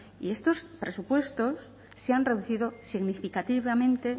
y estos presupuestos se han reducido significativamente